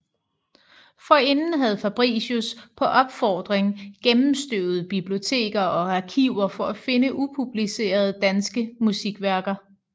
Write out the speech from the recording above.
Forinden havde Fabricius på opfordring gennemstøvet biblioteker og arkiver for at finde upublicerede danske musikværker